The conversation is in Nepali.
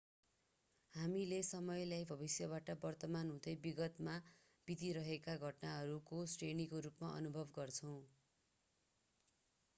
हामीले समयलाई भविष्यबाट वर्तमान हुँदै विगतमा बितिरहेका घटनाहरूको श्रेणीको रूपमा अनुभव गर्छौं